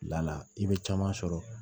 i bɛ caman sɔrɔ